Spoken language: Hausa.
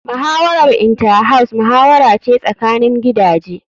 Muhawarar Inter house muhawara ce tsakanin gidaje.